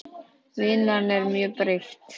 Vinnan er mjög breytt.